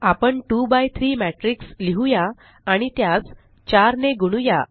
आपण 2 by 3 matrix लिहुया आणि त्यास 4 ने गुणुया